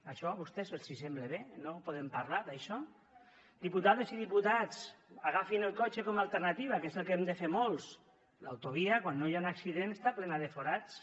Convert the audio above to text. això a vostès els sembla bé no en podem parlar d’això diputades i diputats agafin el cotxe com a alternativa que és el que hem de fer molts l’autovia quan no hi ha un accident està plena de forats